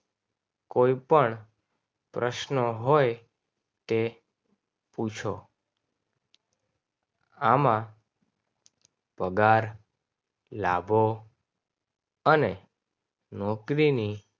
કોઈપણ પ્રશ્ન હોય. કે પૂછો. આમાં પગાર લાવવો અને નોકરીને